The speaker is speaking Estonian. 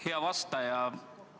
Hea vastaja!